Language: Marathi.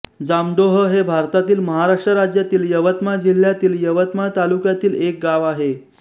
जामडोह हे भारतातील महाराष्ट्र राज्यातील यवतमाळ जिल्ह्यातील यवतमाळ तालुक्यातील एक गाव आहे